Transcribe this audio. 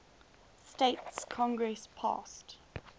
states congress passed